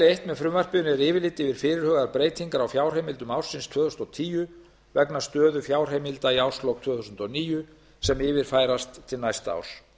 eins með frumvarpinu er yfirlit yfir fyrirhugaðar breytingar á fjárheimildum ársins tvö þúsund og tíu vegna stöðu fjárheimilda í árslok tvö þúsund og níu sem yfirfærast til næsta árs